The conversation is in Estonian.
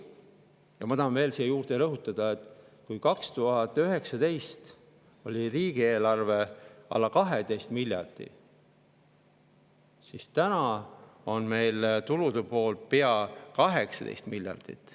Ja ma tahan veel rõhutada, et 2019. aastal oli riigieelarve alla 12 miljardi, aga täna on meil tulude pool pea 18 miljardit.